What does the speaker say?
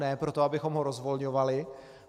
Ne proto, abychom ho rozvolňovali.